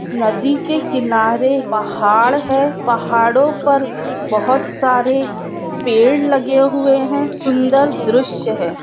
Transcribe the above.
नदी के किनारे पहाड़ है पहाड़ो पर बहुत सारे पेड़ लगे हुए है सुन्दर दृश्य है।